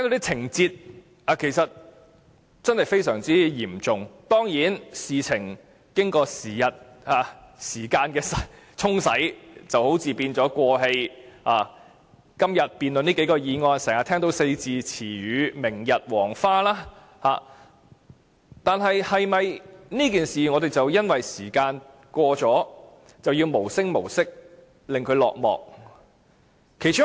情節非常嚴重，但事情好像已是"過氣"，今天辯論這數項議案時，經常聽到"明日黃花"這個四字詞語，但我們是否因時間的過去，而讓事件無聲無息落幕？